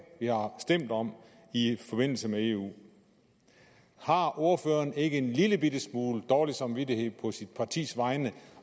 vi har stemt om i forbindelse med eu har ordføreren ikke en lillebitte smule dårlig samvittighed på sit partis vegne